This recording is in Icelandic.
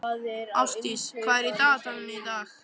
Ástdís, hvað er í dagatalinu í dag?